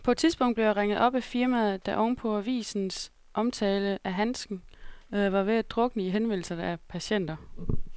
På et tidspunkt blev jeg ringet op af firmaet, der oven på avisens omtale af handsken var ved at drukne i henvendelser fra patienter.